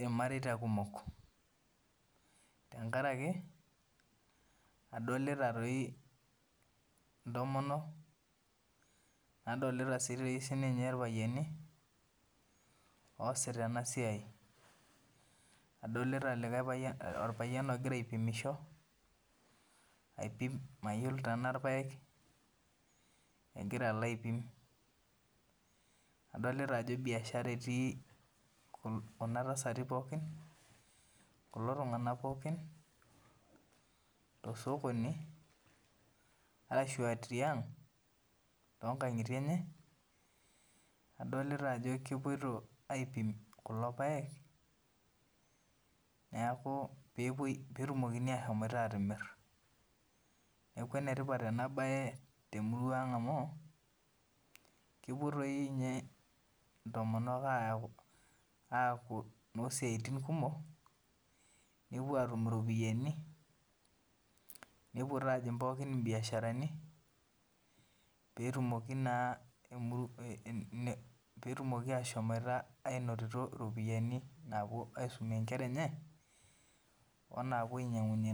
irmareita kumok tenkaraki adolita toi ntomonok nadolita sinche irpayiani oasita enasiai, adolita orpayian ogira aipimisho aipi mayiolo tana irpaek eloito aipim, adolta ajo biashara etii kuna tasati pooki kulo tungana pooki tosokoni ashu tiang tonkangitie enye adolta ajo kepoito aipim kulo paek petumokini ashomo atimir neaku enetipat enabae tenkop aang amu kepuo na ntomonok aaku nosiatnbkumok nepuo atum iropiyiani petumoki na ashomoita ainoto ropiyani naisumie nkera enye onapuo ainyangunyie.